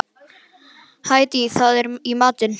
Hædý, hvað er í matinn?